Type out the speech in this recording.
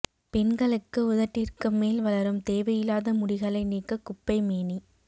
பெண்களுக்கு உதட்டிற்கு மேல் வளரும் தேவையில்லாத முடிகளை நீக்க குப்பை மேனி